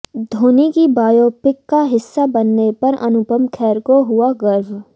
धोनी की बायोपिक का हिस्सा बनने पर अनुपम खेर को हुआ गर्व